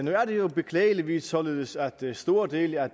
er det jo beklageligvis således at store dele af